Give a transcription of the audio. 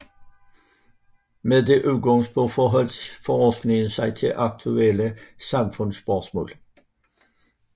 Med det udgangspunkt forholdt forskningen sig til aktuelle samfundsspørgsmål